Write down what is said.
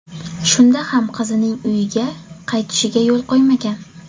Shunda ham qizining uyiga qaytishiga yo‘l qo‘ymagan.